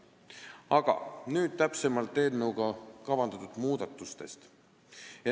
Aga nüüd täpsemalt eelnõuga kavandatud muudatustest.